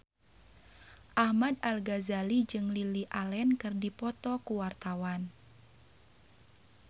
Ahmad Al-Ghazali jeung Lily Allen keur dipoto ku wartawan